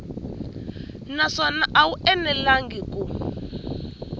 naswona a wu enelangi ku